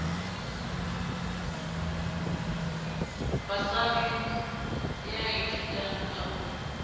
basari ya ithutang ka ho